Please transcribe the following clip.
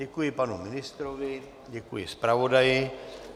Děkuji panu ministrovi, děkuji zpravodaji.